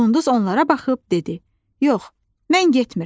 Qunduz onlara baxıb dedi: "Yox, mən getmirəm.